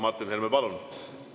Martin Helme, palun!